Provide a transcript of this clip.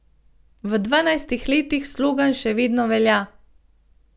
V dvanajstih letih slogan še vedno velja.